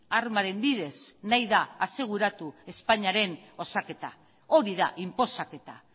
armaren bidez nahi da aseguratu espainiaren osaketa hori da inposaketa